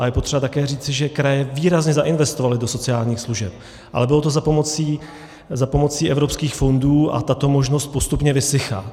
A je potřeba také říci, že kraje výrazně zainvestovaly do sociálních služeb, ale bylo to za pomoci evropských fondů a tato možnost postupně vysychá.